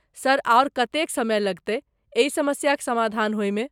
Sir आओर कतेक समय लगतैक एहि समस्याक समाधान होय मे?